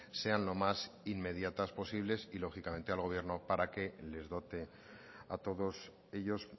sean lo más inmediatas posibles y lógicamente al gobierno para que les dote a todos ellos